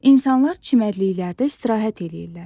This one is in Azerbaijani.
İnsanlar çimərliklərdə istirahət eləyirlər.